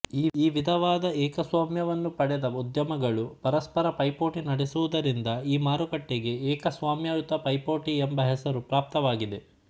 ಈ ವಿಧವಾದ ಏಕಸ್ವಾಮ್ಯವನ್ನು ಪಡೆದ ಉದ್ಯಮಗಳು ಪರಸ್ಪರ ಪೈಪೋಟಿ ನಡೆಸುವುದರಿಂದ ಆ ಮಾರುಕಟ್ಟೆಗೆ ಏಕಸ್ವಾಮ್ಯಯುತ ಪೈಪೋಟಿ ಎಂಬ ಹೆಸರು ಪ್ರಾಪ್ತವಾಗಿದೆ